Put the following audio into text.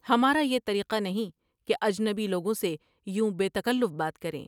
ہمارا بی طریقہ نہیں کہ اجنبی لوگوں سے یوں بے تکلف بات کر یں ۔